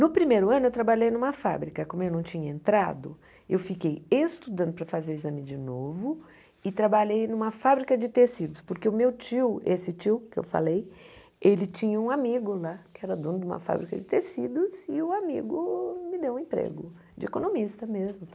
No primeiro ano eu trabalhei numa fábrica, como eu não tinha entrado, eu fiquei estudando para fazer o exame de novo e trabalhei numa fábrica de tecidos, porque o meu tio, esse tio que eu falei, ele tinha um amigo lá, que era dono de uma fábrica de tecidos e o amigo me deu um emprego de economista mesmo.